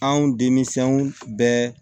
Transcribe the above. Anw denmisɛnw bɛɛ